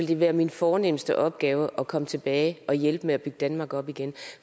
det være min fornemste opgave at komme tilbage og hjælpe med at bygge danmark op igen